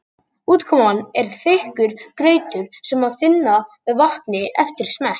Útkoman er þykkur grautur sem má þynna með vatni eftir smekk.